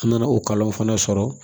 An nana o kalanw fana sɔrɔ